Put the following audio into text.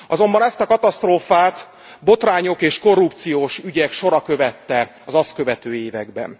Azonban ezt a katasztrófát botrányok és korrupciós ügyek sora követte az azt követő években.